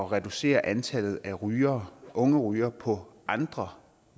reducere antallet af rygere unge rygere på andre